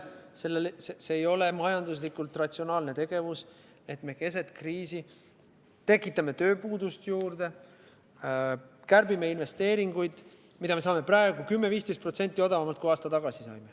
See ei ole majanduslikult ratsionaalne tegevus, et me keset kriisi tekitame tööpuudust juurde, kärbime investeeringuid, mida me saame praegu 10–15% odavamalt kui aasta tagasi.